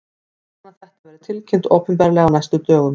Ég vona að þetta verði tilkynnt opinberlega á næstu dögum.